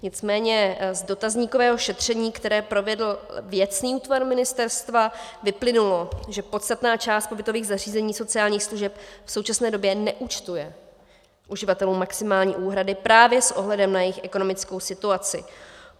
Nicméně z dotazníkového šetření, které provedl věcný útvar ministerstva, vyplynulo, že podstatná část pobytových zařízení sociálních služeb v současné době neúčtuje uživatelům maximální úhrady právě s ohledem na jejich ekonomickou situaci.